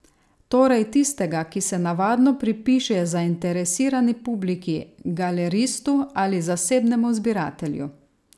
Torej tistega, ki se navadno pripiše zainteresirani publiki, galeristu ali zasebnemu zbiratelju.